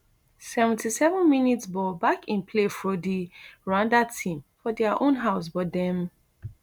seventy-sevenmins ball back in play fro di rwandan team for dia own home but dem